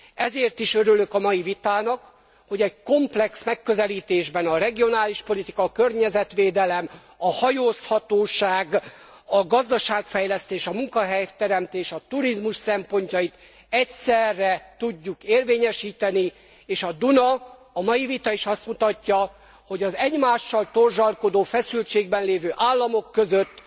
Ezért is örülök a mai vitának, hogy egy komplex megközelítésben, a regionális politika, a környezetvédelem, a hajózhatóság, a gazdaságfejlesztés, a munkahelyteremtés, a turizmus szempontjait egyszerre tudjuk érvényesíteni és a Duna a mai vita is azt mutatja, hogy az egymással torzsalkodó feszültségben lévő államok között